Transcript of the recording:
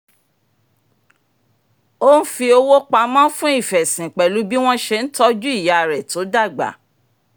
ó n fi owó pamọ́ fún ìfẹ̀sìn pẹ̀lú bí wọ́n ṣe ń tọju ìyá rẹ tó dàgbà